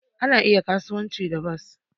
Ana iya kasuwanci da bas